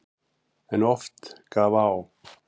En oft gaf á.